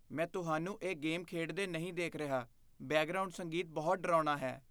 ਮੈਂ ਤੁਹਾਨੂੰ ਇਹ ਗੇਮ ਖੇਡਦੇ ਨਹੀਂ ਦੇਖ ਰਿਹਾ। ਬੈਕਗ੍ਰਾਉਂਡ ਸੰਗੀਤ ਬਹੁਤ ਡਰਾਉਣਾ ਹੈ!